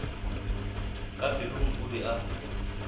ka pelong o be a